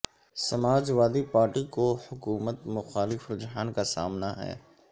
Samajwadi party کو حکومت محالف رجحان کا سامنا ہے